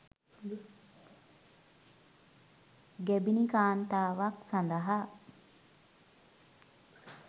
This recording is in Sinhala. ගැබිණි කාන්තාවක් සඳහා